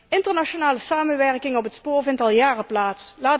Internationale samenwerking op het spoor vindt al jaren plaats.